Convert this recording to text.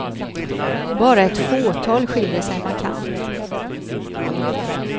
Bara ett fåtal skiljer sig markant.